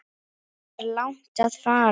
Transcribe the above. Er langt að fara?